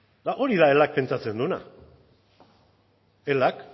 eta hori da elak pentsatzen duena elak